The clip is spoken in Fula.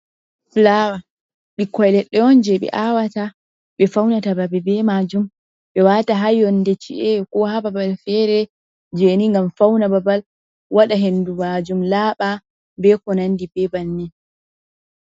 Fulaawa ɓikkoi leɗɗe on je ɓe awata ɓe faunata baɓe be majum ɓe wata ha yonde chi'e ko ha babal fere jeni ngam fauna babal wada hendu majum laaba be konandi be bannin.